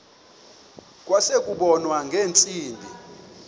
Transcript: kwase kubonwa ngeentsimbi